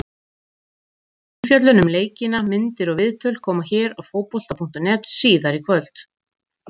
Frekari umfjöllun um leikina, myndir og viðtöl, koma hér á Fótbolta.net síðar í kvöld.